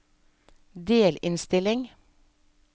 delinnstilling